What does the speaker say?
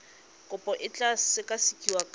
kopo e tla sekasekiwa ka